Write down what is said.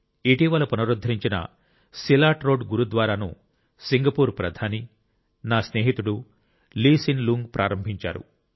ఇటీవల పునరుద్ధరించిన Silat Road గురుద్వారాను సింగపూర్ ప్రధాని నా స్నేహితుడు లీ సెన్ లూంగ్ ప్రారంభించారు